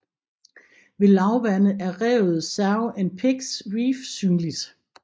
Ved lavvande er revet Sow and Pigs Reef synligt